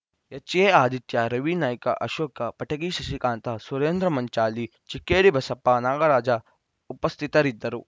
HA Aditya Ravi Naik Ashoka Patagi Shashikanth Surendra Manchali Chikkeri Basappa Nagaraj ಉಪಸ್ಥಿತರಿದ್ದರು